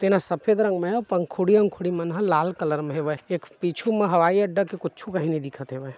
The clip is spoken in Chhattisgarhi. जेन सफ़ेद रंग में है पंखुड़ी अंखुड़ी मन ह लाल कलर में हवय व् एक पीछू म हवाई अड्डा के कुछू काही नहीं दिखत हैवे।